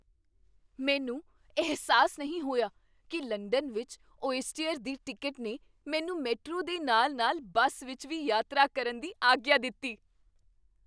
ਮੈਨੂੰ ਅਹਿਸਾਸ ਨਹੀਂ ਹੋਇਆ ਕੀ ਲੰਡਨ ਵਿੱਚ ਔਇਸਟਅਰ ਦੀ ਟਿਕਟ ਨੇ ਮੈਨੂੰ ਮੈਟਰੋ ਦੇ ਨਾਲ ਨਾਲ ਬੱਸ ਵਿੱਚ ਵੀ ਯਾਤਰਾ ਕਰਨ ਦੀ ਆਗਿਆ ਦਿੱਤੀ